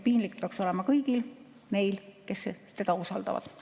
Piinlik peaks olema kõigil neil, kes teda usaldavad.